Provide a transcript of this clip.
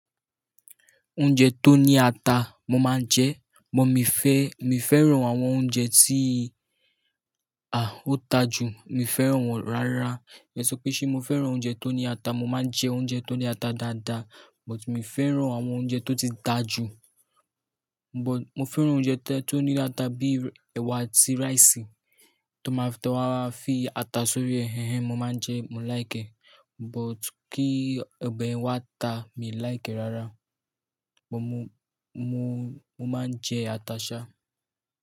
Oúnjẹ tó ní ata mo máa ń jẹ, but mi fẹ́, mi fẹ́ràn àwọn oúnjẹ tí, à, ó ta jù, mi fẹ́ràn wọ́n rárá. Èso pé ṣé mo fẹ́ràn oúnjẹ tó ní ata, mo máa ń jẹ oúnjẹ tó ní ata dáadáa, but mi fẹ́ràn àwọn oúnjẹ tó ti ta jù. But mo fẹ́ràn oúnjẹ tó ní ata bíi ẹwà sí rice tí wọ́n ma fi ata sórí, ẹ́hẹ́n mo máa ń jẹ, mo like. But kí ọbẹ̀ ẹ wa ta, mi like rárá. Mo máa ń jẹ ata ṣá.